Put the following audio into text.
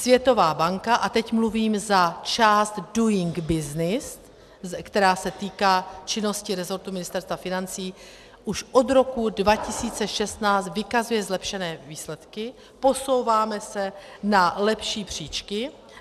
Světová banka - a teď mluvím za část Doing Business, která se týká činnosti resortu Ministerstva financí - už od roku 2016 vykazuje zlepšené výsledky, posouváme se na lepší příčky.